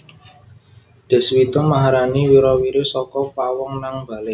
Deswita Maharani wira wiri saka pawong nang bale